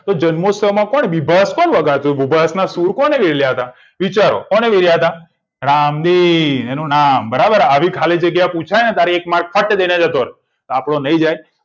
તો જન્મોત્સવ માં કોણ ભીભસ કોણ વગાડતું શુર કોને મેલ્યા હતા વિચારો કોણે મેલ્યા તા રામબીર એનું નામ બરાબર આ પુછાય ને એક ખાલી જગ્યામાં તો ફટ દઈને જતો રહે આપડો નહિ જાય